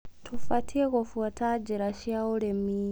Tũbatie gũbuata njĩra cia ũrĩmi